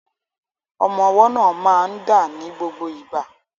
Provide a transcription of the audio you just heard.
Ọmọ ọwọ́ náà máa ń dà ní gbogbo ìgbà.